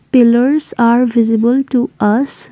pillars are visible to us.